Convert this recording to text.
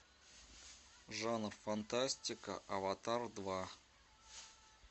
жанр фантастика аватар два